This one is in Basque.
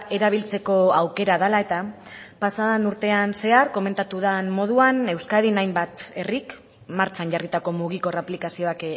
erabiltzeko aukera dela eta pasaden urtean zehar komentatu den moduan euskadin hainbat herrik martxan jarritako mugikor aplikazioak